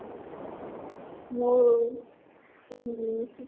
মোৰো